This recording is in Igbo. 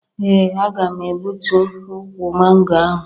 Ee, aga m egbutu ukwu mango ahụ